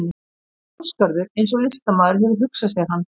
Ásgarður eins og listamaður hefur hugsað sér hann.